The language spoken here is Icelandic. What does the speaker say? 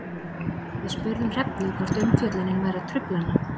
Við spurðum Hrefnu hvort umfjöllunin væri að trufla hana?